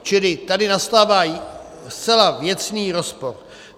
Čili tady nastává zcela věcný rozpor.